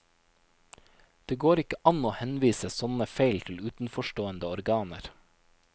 Det går ikke an å henvise sånne feil til utenforstående organer.